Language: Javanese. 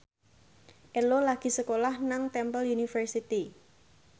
Ello lagi sekolah nang Temple University